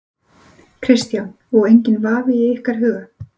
Kristján: Og enginn vafi í ykkar huga?